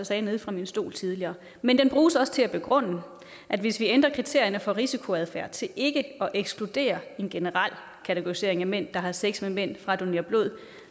sagde nede fra min stol tidligere men den bruges også til at begrunde at hvis vi ændrer kriterierne for risikoadfærd til ikke at ekskludere via en generel kategorisering af mænd der har sex med mænd fra at donere blod